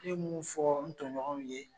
Ne bɛ mun fɔ n tɔɲɔgɔnw ye.